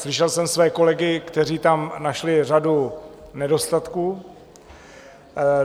Slyšel jsem své kolegy, kteří tam našli řadu nedostatků.